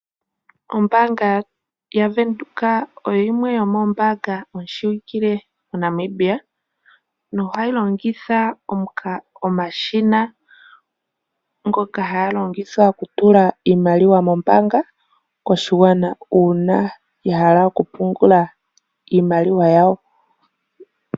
Ombaanga yaVenduka oyo yimwe yoomoombanga yi shiwike moNamibia, nohayi longitha omashina, ngoka haga longithwa okutula iimaliwa mombaanga, koshiwana uuna ya hala okupungula iimaliwa yawo.